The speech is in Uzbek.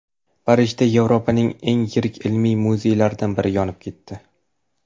Parijda Yevropaning eng yirik ilmiy muzeylaridan biri yonib ketdi.